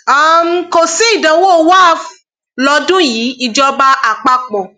um kò sí ìdánwò wafc lọdún yìí ìjọba àpapọ